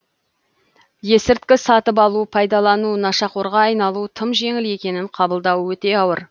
есірткі сатып алу пайдалану нашақорға айналу тым жеңіл екенін қабылдау өте ауыр